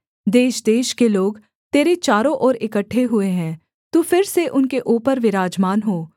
देशदेश के लोग तेरे चारों ओर इकट्ठे हुए है तू फिर से उनके ऊपर विराजमान हो